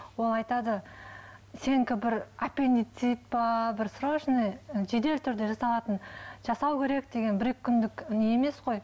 ол айтады сенікі бір аппендицит па бір страшный жедел түрде жасалатын жасау керек деген бір екі күндік не емес қой